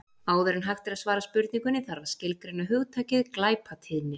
Áður en hægt er að svara spurningunni þarf að skilgreina hugtakið glæpatíðni.